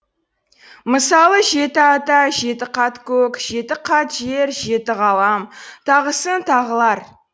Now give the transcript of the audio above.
мысалы жеті ата жеті қат көк жеті қат жер жеті ғалам тағысын тағылар